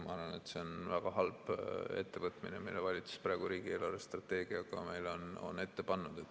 Ma arvan, et see on väga halb ettevõtmine, mille valitsus praegu riigi eelarvestrateegiaga meile on ette pannud.